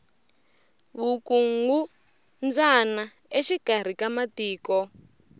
vukungumbyana exikari ka matiko